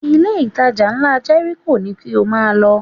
Ilé-ìtajà ńlá Jẹ́ríkò ni kí o máa lọ